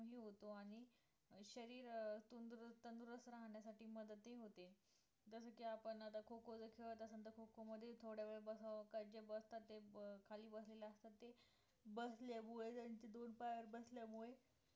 होतो आणि शरीर तंदरुस्त अं राहण्यासाठी मदत ही होते जसं की आपण आता खो खो जर खेळत असेल तर खो खो मध्ये थोड्यावेळ बसावं का जे बसता खाली बसलेले असतात ते बसल्यामुळे, त्यांच्या दोन पायावर बसल्यामुळे